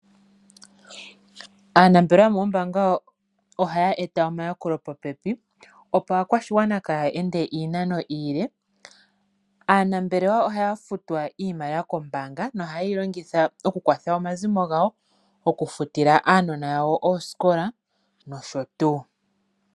Aanambelewa yomoombaanga ohaya eta omayakulo popepi opo aakwashigwana kaya ende iinano iile. Aanambelewa ohaya futwa iimaliwa kombaanga nohayeyi longitha oku kwatha omazimo gawo, oku futila aanona yawo oosikola nosho tuu.